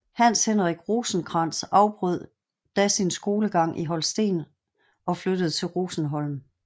Hans Henrik Rosenkrantz afbrød da sin skolegang i Holsten og flyttede til Rosenholm